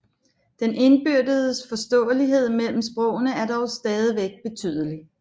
Den indbyrdes forståelighed mellem sprogene er dog stadigvæk betydelig